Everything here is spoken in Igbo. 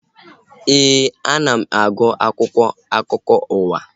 Éè, ana m agụ akwụkwọ akụkọ ụwa